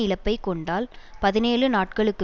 இழப்பைக் கொண்டால் பதினேழு நாட்களுக்கு